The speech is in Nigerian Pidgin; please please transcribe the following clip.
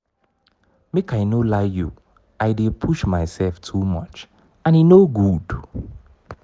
make i no lie you i dey push mysef too much and e no good.